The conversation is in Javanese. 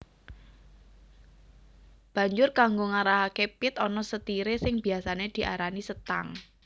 Banjur kanggo ngarahaké pit ana setiré sing biasané diarani setang